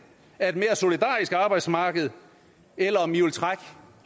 af et mere solidarisk arbejdsmarked eller om i vil trække